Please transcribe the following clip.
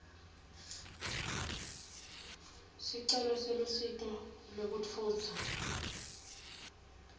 sicelo selusito lwekutfutsa